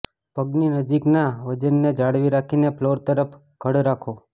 પગની નજીકના વજનને જાળવી રાખીને ફ્લોર તરફ ધડ રાખો